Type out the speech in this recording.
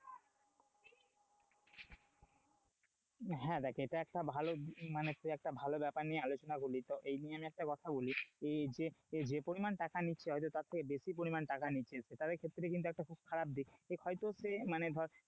হ্যাঁ, দেখ এটা একটা ভালো মানে টু একটা ভালো ব্যাপার নিয়ে আলোচনা করলি তো এই নিয় আমি একটা কথা বলি, এই যে যে পরিমাণে টাকা নিচ্ছে, হয়তো তার থেকে বেশি পরিমাণে টাকা নিচ্ছে সে তাদের ক্ষেত্রে কিন্তু একটা খারাপ দিক দেখ হয়তো সে মানে ধর,